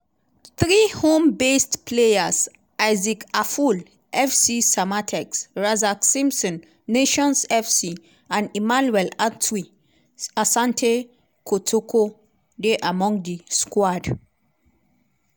three home-based players - isaac afful (fc samatex) razak simpson (nations fc) and emmanuel antwi (asante kotoko) dey among di squad.